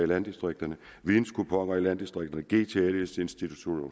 landdistrikterne videnkuponer i landdistrikterne gts institutterne ud